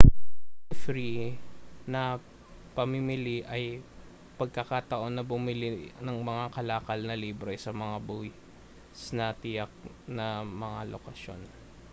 ang duty free na pamimili ay ang pagkakataon na bumili ng mga kalakal na libre sa mga buwis sa tiyak na mga lokasyon